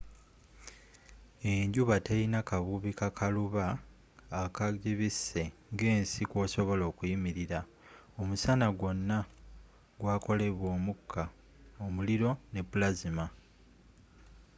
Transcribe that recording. enjuba telina kabubi kakaluba akagibise nga ensi kwosobola okuyimirila omusana gwona gwakolebwa omuka omuliro ne plasma